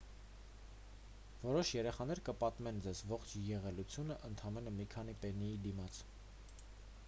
որոշ երեխաներ կպատմեն ձեզ ողջ եղելությունն ընդամենը մի քանի պեննի դիմաց